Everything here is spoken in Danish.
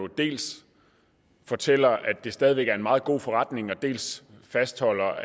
dels fortæller ministeren at det stadig væk er en meget god forretning dels fastholder